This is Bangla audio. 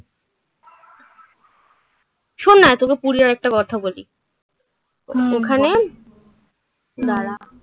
শোন না. তোকে পুরীর আর একটা কথা বলি হুম ওখানে দাঁড়া.